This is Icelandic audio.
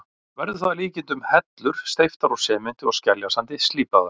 Verður það að líkindum hellur steyptar úr sementi og skeljasandi, slípaðar.